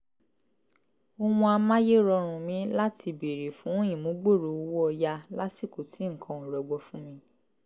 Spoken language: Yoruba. ohun amáyérọrùn mi láti béèrè fún ìmúgbòòrò owó ọ̀yà lásìkò tí nǹkan ò rọgbọ fún mi